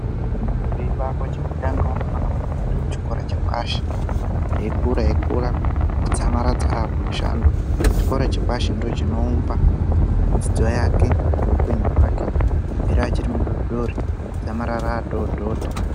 Muntu eyibarwa chekutanga unofana kuenda kuchikora chepashi, eyikura eyikura kudzamaradza aakumushando, chikora chapashi ndochinoumba dzidzo yake ngehupenyu hwake kubvira achiri mudori dori, kudzamarara atododa.